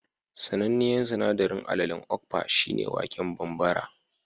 Sananniyar sanaɗarin alalen okpa shi ne waken bambara